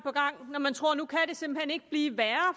når man tror at nu kan det simpelt hen ikke blive værre